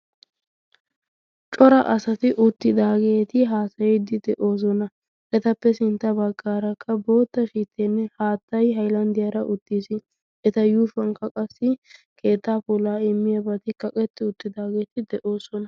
cora asati uttidaageeti haasayiddi de7oosona etappe sintta baggaarakka bootta shiittenne haattayi hailanddiyaara uttiis eta yuufuwankka qassi keettaa pulaa immiyaabaati kaqetti uttidaageeti de7oosona